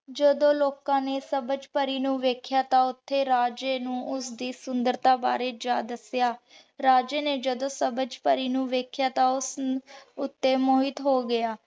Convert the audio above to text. ਜਦੋਂ ਲੋਕਾਂ ਨੇ ਸਬਝ ਪਰੀ ਨੂ ਦੇਖ੍ਯਾ ਤਾਂ ਓਥੇ ਰਾਜੇ ਨੂ ਓਸਦੀ ਸੁੰਦਰਤਾ ਬਾਰੇ ਜਾ ਦੱਸਿਆ। ਰਾਜੇ ਨੇ ਜਦੋਂ ਸਬਝ ਪਰੀ ਨੂ ਦੇਖ੍ਯਾ ਤਾਂ ਉਸ ਉਤੇ ਮੋਹਿਤ ਹੋ ਗਯਾ।